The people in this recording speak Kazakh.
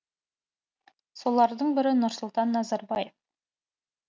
солардың бірі нұрсұлтан назарбаев